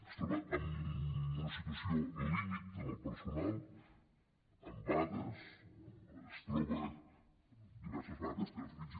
es troba en una situació límit amb el personal amb vagues es troba diverses vagues que